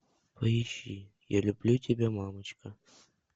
поищи я люблю тебя мамочка